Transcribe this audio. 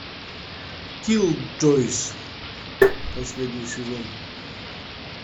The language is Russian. киллджойс последний сезон